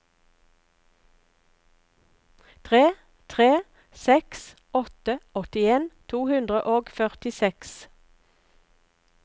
tre tre seks åtte åttien to hundre og førtiseks